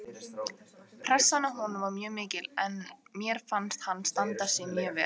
Pressan á honum var mjög mikil en mér fannst hann standa sig mjög vel